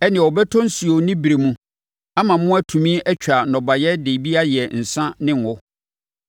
ɛnneɛ, ɔbɛtɔ osuo ne berɛ mu ama mo na moatumi atwa nnɔbaeɛ de bi ayɛ nsã ne ngo.